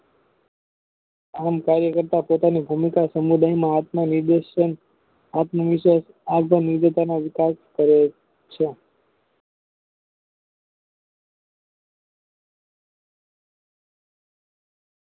આમ કાર્ય કરતા પોતાની ધુનતા સમુદાય આત્મ નિર્દેશન આત્મનિશે વિકાસ કરે છે